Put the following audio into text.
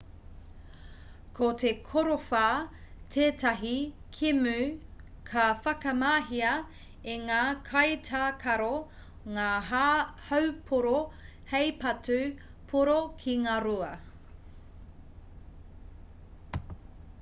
ko te korowha tētahi kēmu ka whakamahia e ngā kaitākaro ngā haupōro hei patu pōro ki ngā rua